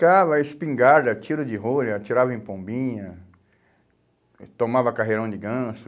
Brincava, espingarda, tiro de rolha, atirava em pombinha, tomava carreirão de ganso.